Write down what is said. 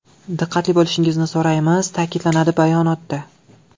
Diqqatli bo‘lishingizni so‘raymiz”, ta’kidlanadi bayonotda.